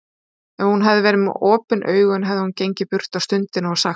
Ef hún hefði verið með opin augu hefði hún gengið burt á stundinni og sagt